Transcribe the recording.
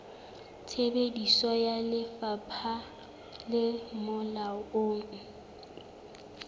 tsebiso ya lefapha le molaong